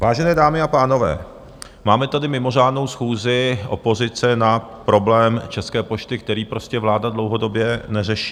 Vážené dámy a pánové, máme tady mimořádnou schůzi opozice na problém České pošty, který prostě vláda dlouhodobě neřeší.